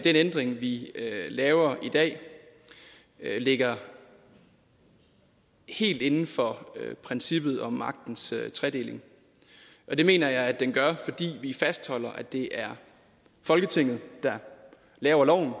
ændring vi laver i dag ligger helt inden for princippet om magtens tredeling og det mener jeg at den gør fordi vi fastholder at det er folketinget der laver loven